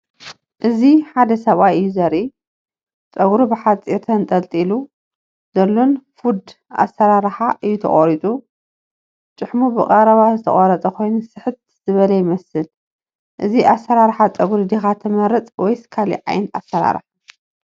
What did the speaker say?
እዚ ሓደ ሰብኣይ እዩ ዘርኢ። ጸጉሩ ብሓጺርን ተንጠልጢሉ ዘሎን "ፋድ" ኣሰራርሓ እዩ ተቐሪጹ። ጭሕሙ ብቐረባ ዝተቖርጸ ኮይኑ ስሕት ዝበለ ይመስል። እዚ ኣሰራርሓ ጸጉሪ ዲኻ ትመርጽ ወይስ ካልእ ዓይነት ኣሰራርሓ?